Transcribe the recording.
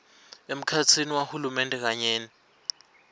emkhatsini wahulumende kanye